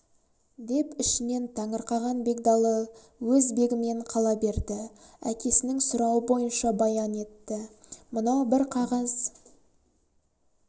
деп ішінен таңырқаған бегдалы өз бегімен қала берді әкесінің сұрауы бойынша баян етті мынау бір қағаз